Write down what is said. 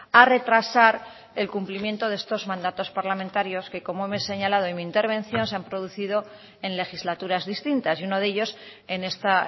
a retrasar el cumplimiento de estos mandatos parlamentarios que como hemos señalado en mi intervención se han producido en legislaturas distintas y uno de ellos en esta